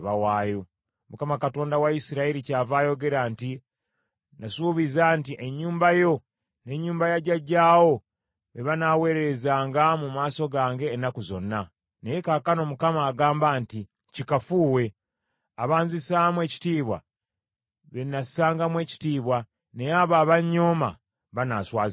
“ Mukama Katonda wa Isirayiri kyava ayogera nti, ‘Nasuubiza nti ennyumba yo n’ennyumba ya jjajjaawo be banaaweerezanga mu maaso gange ennaku zonna;’ naye kaakano Mukama agamba nti, ‘Kikafuuwe! Abanzisaamu ekitiibwa bennassangamu ekitiibwa, naye abo abonnyooma banaaswazibwanga.